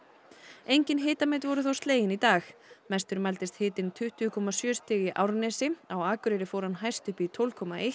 engin hitamet voru þó slegin í dag mestur mældist hitinn tuttugu komma sjö stig í Árnesi á Akureyri fór hann hæst upp í tólf komma eins